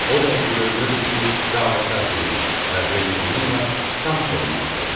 O dəqiqə görünürdü ki, dava-kar deyil və Jeni onunla tanış olmaq istədi.